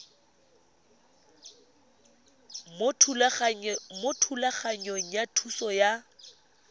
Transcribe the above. mo thulaganyong ya thuso y